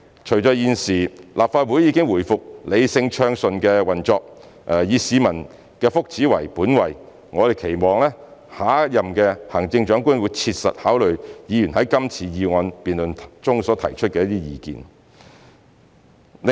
隨着現時立法會已回復理性暢順的運作，以市民福祉為本位，我們期望下任行政長官會切實考慮議員在今次議案辯論所提出的意見。